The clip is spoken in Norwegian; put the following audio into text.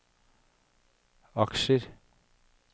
aksjer